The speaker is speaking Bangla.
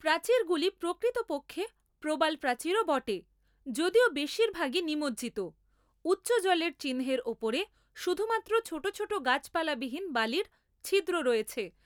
প্রাচীরগুলি প্রকৃতপক্ষে প্রবালপ্রাচীরও বটে, যদিও বেশিরভাগই নিমজ্জিত, উচ্চ জলের চিহ্নের ওপরে শুধুমাত্র ছোট ছোট গাছপালাবিহীন বালির ছিদ্র রয়েছে।